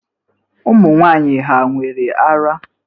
Ụmụ nwanyị hà nwere ara?